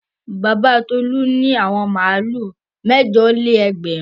Baba Tolú ní àwọn màlúù mẹ́jọ-lé-ẹgbẹ̀rún.